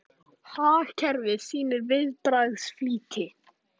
Hagkerfið sýnir viðbragðsflýti